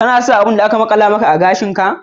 Kana son kalan abin da aka makala maka a gashin ka?